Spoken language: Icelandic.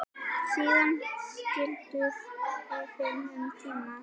Síðan skildu leiðir um tíma.